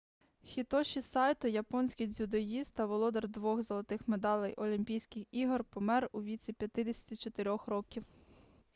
хітоші сайто японський дзюдоїст та володар двох золотих медалей олімпійських ігор помер у віці 54-х років